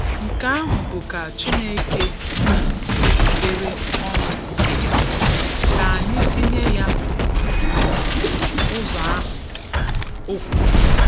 Nke ahụ bụ ka Chineke si zubere ọnwụ nke ya; ka anyị tinye ya um ụzọ ahụ,' o kwuru.'